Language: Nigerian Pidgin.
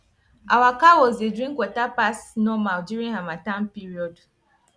our cows dey drink water pass normal during harmattan period